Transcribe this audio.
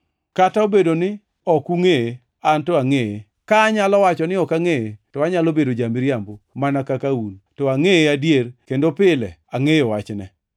Kata obedo ni ok ungʼeye, anto angʼeye. Ka anyalo wacho ni ok angʼeye, to anyalo bedo ja-miriambo mana ka un, to angʼeye adier kendo pile angʼeyo wachne.